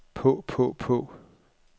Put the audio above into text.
på på på